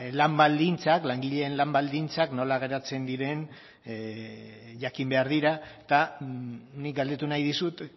ba langileen lan baldintzak nola geratzen diren jakin behar dira eta nik galdetu nahi dizut